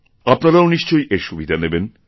আপনারাও নিশ্চয়ই এর সুবিধা নেবেন